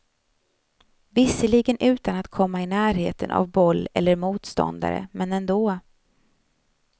Visserligen utan att komma i närheten av boll eller motståndare, men ändå.